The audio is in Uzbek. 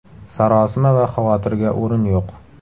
Sarosima va xavotirga o‘rin yo‘q.